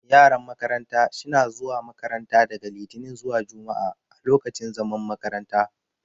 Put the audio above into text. Yaran makaranta sh na zuwa makaranta daga litinin zuwa jumua'a a lokacin zaman makaranta.